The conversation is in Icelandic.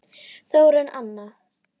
Þórunn Anna.